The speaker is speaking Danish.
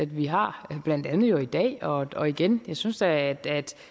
vi har blandt andet jo i dag og igen jeg synes at